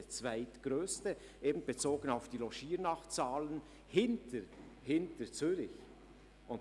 Er ist bezogen auf die Logiernachtzahlen hinter Zürich der Zweitgrösste.